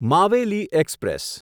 Maveli express